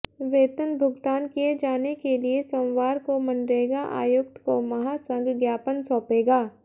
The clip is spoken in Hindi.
वेतन भुगतान किये जाने के लिए सोमवार को मनरेगा आयुक्त को महासंघ ज्ञापन सौंपेगा